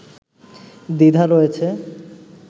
দ্বিধা রয়েছে